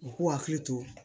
U k'u hakili to